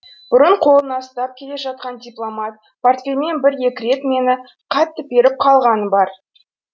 бұрын қолына ұстап келе жатқан дипломат портфелімен бір екі рет мені қатты періп қалғаны бар